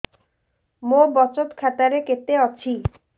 ମୋ ବଚତ ଖାତା ରେ କେତେ ଅଛି